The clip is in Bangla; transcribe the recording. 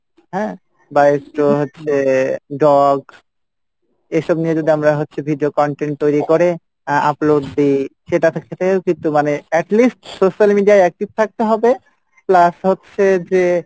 হ্যাঁ? বা একটু হচ্ছে dogs এইসব নিয়ে যদি আমরা হচ্ছে video content তৈরি করে আহ upload দিই সেটা থে~ থেকেও কিন্তু মানে at least social media ই active থাকতে হবে plus হচ্ছে যে,